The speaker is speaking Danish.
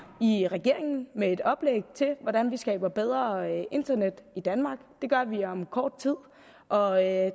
i regeringen med et oplæg til hvordan vi skaber bedre internet i danmark det gør vi om kort tid og